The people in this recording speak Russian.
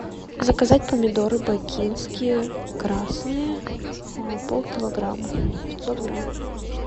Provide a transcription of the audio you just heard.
заказать помидоры бакинские красные полкилограмма пятьсот грамм